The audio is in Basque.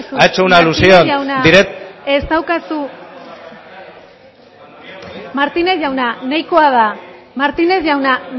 ha hecho una alusión directa martínez jauna ez daukazu martínez jauna ez daukazu hitza martínez jauna nahikoa da martínez jauna